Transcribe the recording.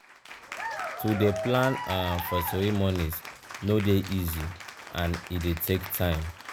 to de plan um for cereomonies no de easy and e de take time um